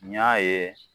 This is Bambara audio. N y'a ye